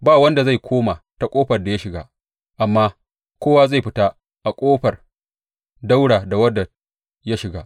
Ba wanda zai koma ta ƙofar da ya shiga, amma kowa zai fita a ƙofar ɗaura da wadda ya shiga.